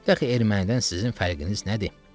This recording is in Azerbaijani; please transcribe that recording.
Daqı ermənidən sizin fərqiniz nədir?